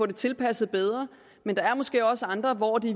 det tilpasset bedre men der er måske også andre hvor det